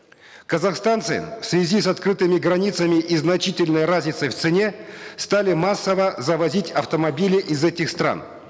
казахстанцы в связи с открытыми границами и значительной разницей в цене стали массово завозить автомобили из этих стран